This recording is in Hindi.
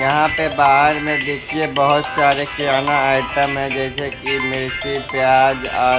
यहां पे बाहर में देखिए बहोत सारे किराना आइटम है जैसे कि मिर्ची प्याज आ--